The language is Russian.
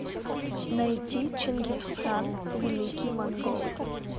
найти чингисхан великий монгол